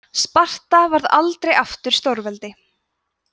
sparta varð aldrei aftur stórveldi